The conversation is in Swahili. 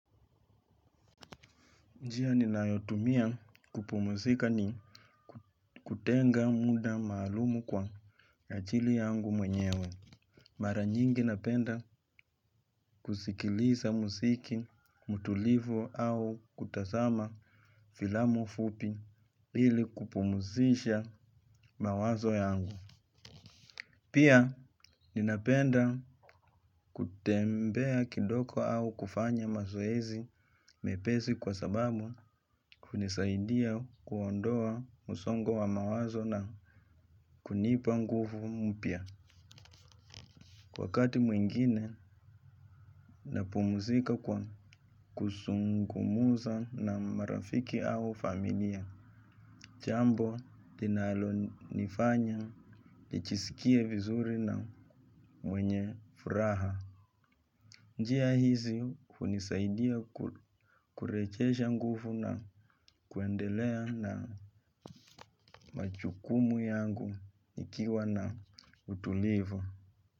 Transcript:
Njia ninayotumia kupumuzika ni kutenga muda maalumu kwa ya ajili yangu mwenyewe. Mara nyingi napenda kusikiliza muziki, mtulivu au kutazama filamu fupi ili kupumuzisha mawazo yangu. Pia ninapenda kutembea kidogo au kufanya mazoezi mepesi kwa sababu hunisaidia kuondoa msongo wa mawazo na kunipa nguvu mpya. Wakati mwingine napumuzika kwa kuzungumza na marafiki au familia, jambo linalo nifanya nijisikie vizuri na mwenye furaha. Njia hizi hunisaidia kurejesha nguvu na kuendelea na majukumu yangu nikiwa na utulivu.